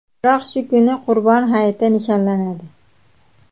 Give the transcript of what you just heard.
Biroq shu kuni Qurbon hayiti nishonlanadi.